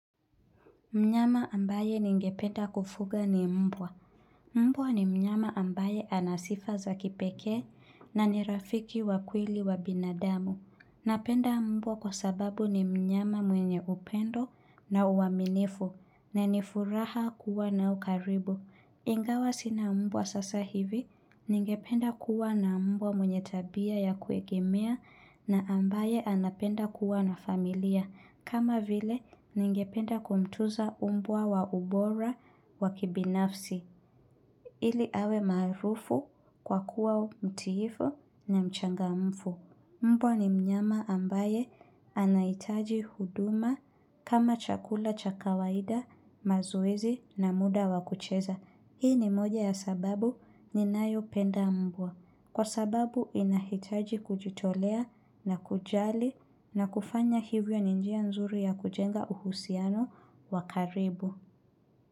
Mnyama ambaye ningependa kufuga ni mbwa. Mbwa ni mnyama ambaye anasifa za kipekee na ni rafiki wa kweli wa binadamu. Napenda mbwa kwa sababu ni mnyama mwenye upendo na uaminifu na nifuraha kuwa nao karibu. Ingawa sina mbwa sasa hivi ningependa kuwa na mbwa mwenye tabia ya kuegemea na ambaye anapenda kuwa na familia. Kama vile ningependa kumtuza umbwa wa ubora wa kibinafsi ili awe maarufu kwa kuwa mtiifu na mchangamfu. Mbwa ni mnyama ambaye anaitaji huduma kama chakula chakawaida mazoezi na muda wakucheza. Hii ni moja ya sababu ninayo penda mbwa. Kwa sababu inahitaji kujitolea na kujali na kufanya hivyo ninjia nzuri ya kujenga uhusiano wakaribu.